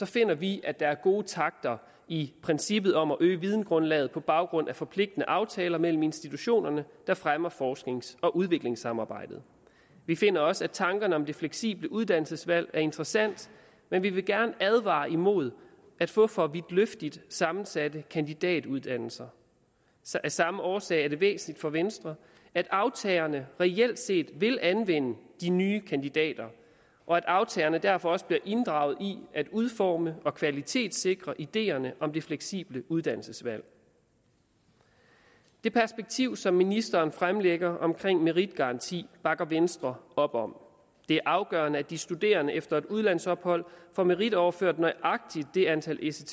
finder vi at der er gode takter i princippet om at øge videngrundlaget på baggrund af forpligtende aftaler mellem institutionerne der fremmer forsknings og udviklingssamarbejde vi finder også at tankerne om det fleksible uddannelsesvalg er interessant men vi vil gerne advare imod at få for vidtløftigt sammensatte kandidatuddannelser af samme årsag er det væsentligt for venstre at aftagerne reelt set vil anvende de nye kandidater og at aftagerne derfor også bliver inddraget i at udforme og kvalitetssikre ideerne om det fleksible uddannelsesvalg det perspektiv som ministeren fremlægger omkring meritgaranti bakker venstre op om det er afgørende at de studerende efter et udlandsophold får meritoverført nøjagtig det antal ects